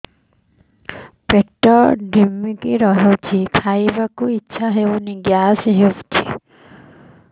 ପେଟ ଢିମିକି ରହୁଛି ଖାଇବାକୁ ଇଛା ହଉନି ଗ୍ୟାସ ହଉଚି